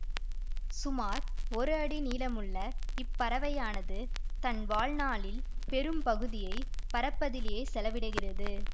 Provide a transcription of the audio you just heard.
சுமார் ஒரு அடி நீளமுள்ள இப்பறவையானது தன் வாழ்நாளின் பெரும்பகுதியை பறப்பதிலே செலவிடுகிறது